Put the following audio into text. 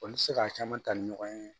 Olu tɛ se k'a caman ta ni ɲɔgɔn ye